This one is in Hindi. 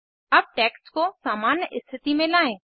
अब टेक्स्ट को सामान्य स्थिति में लाएं